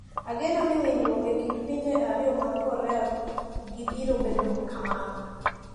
Ageno ni winjruok e kind pinje ariyo mag Korea go biro bedo kamano.